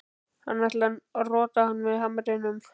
Hann ætlar að rota hann með hamrinum.